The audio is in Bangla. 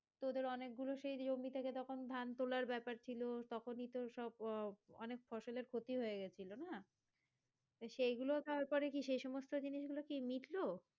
তোদের অনেক গুলো সেই জমি থেকে তখন ধান তুলার বেপার ছিল তখনিই তো সব আহ অনেক ফসলের ক্ষতি হয়ে গেছিলো না? তো সেইগুলো কি তারপরে সেই সমস্ত জিনিস গুলো মিটলো?